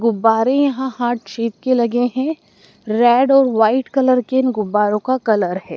गुब्बारे यहाँ heart shape के लगे हैं रेड और वाइट कलर के इन गुब्बारे का कलर है।